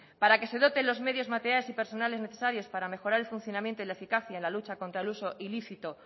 para que se dote los medios materiales y personal necesarios para mejorar el funcionamiento y la eficacia en la lucha contra el uso ilícito